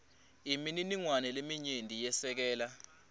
imininingwane leminyenti yesekela